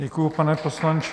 Děkuji, pane poslanče.